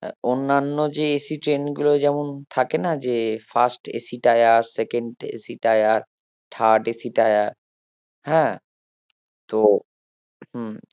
আহ অন্যান্য যে AC ট্রেনগুলোয় যেমন থেকে না যে first AC tiersecond AC tier third AC tier হ্যাঁ তো হম